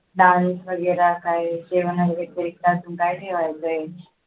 dance वगैरे काय जेवण वगैरे तरी अजून काय ठेवायचे